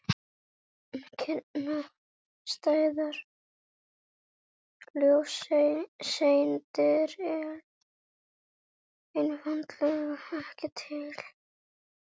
Kyrrstæðar ljóseindir eru einfaldlega ekki til.